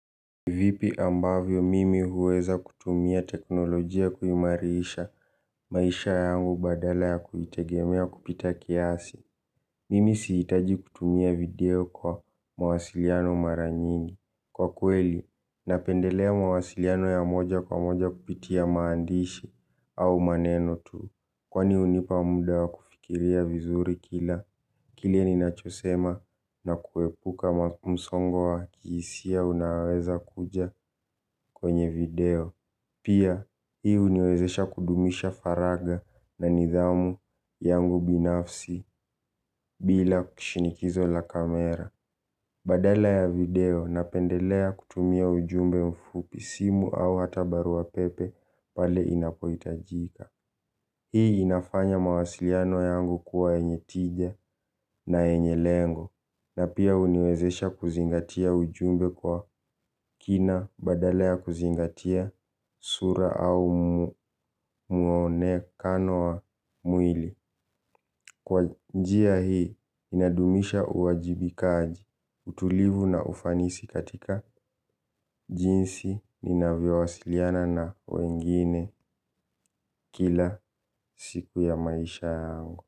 Vipi ambavyo mimi huweza kutumia teknolojia kuimarisha maisha yangu badala ya kuitegemea kupita kiasi. Mimi sihitaji kutumia video kwa mawasiliano mara nyingi. Kwa kweli, napendelea mawasiliano ya moja kwa moja kupitia maandishi au maneno tu. Kwani hunipa muda wa kufikiria vizuri kila, kile ninachosema na kuepuka msongo wa kihisia unaoweza kuja kwenye video. Pia hii huniwezesha kudumisha faraga na nidhamu yangu binafsi bila kushinikizo la kamera. Badala ya video napendelea kutumia ujumbe mfupi simu au hata barua pepe pale inapohitajika. Hii inafanya mawasiliano yangu kuwa yenye tija na yenye lengo na pia huniwezesha kuzingatia ujumbe kwa kina badala ya kuzingatia sura au mwonekano wa mwili. Kwa njia hii ninadumisha uwajibikaji utulivu na ufanisi katika jinsi ninavyowasiliana na wengine kila siku ya maisha yangu.